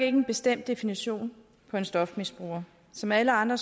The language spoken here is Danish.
en bestemt definition på en stofmisbruger som alle andre